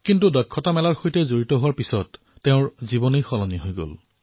কিন্তু হুনাৰ হাটৰ সৈতে জড়িত হোৱাৰ পিছত তেওঁৰ জীৱন পৰিৱৰ্তিত হল